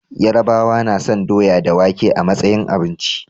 Yarabawa nason doya da wake a matsayin abinci